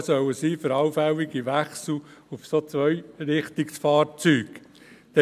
Der Bericht soll eine Entscheidungsgrundlage für allfällige Wechsel auf Zweirichtungsfahrzeuge bieten.